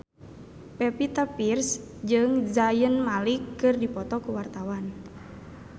Pevita Pearce jeung Zayn Malik keur dipoto ku wartawan